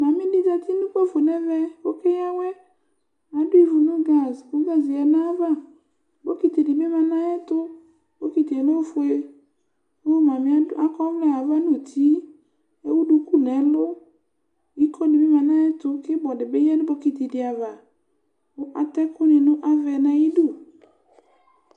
Mami di zeti n'ukpafo n'ɛvɛ k'ɔke y'awɛ Adu iʋu nu gaz ku gaze yǝ n'ay'ava bokiti di bi ma n'ayɛ tu, bokitie l'ofue, ku mamiɛ akɔ'ʋlɛ aʋa n'uti k'ewu duku n'ɛlu Iko di bi ma n'ayɛ tu k'ibɔ di bi ya nu bokiti di avaKu at'ɛku ni nu aʋɛ n'ayi du